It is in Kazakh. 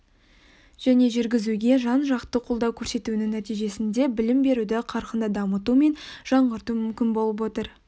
және жүргізуге жан-жақты қолдау көрсетуінің нәтижесінде білім беруді қарқынды дамыту мен жаңғырту мүмкін болып отыр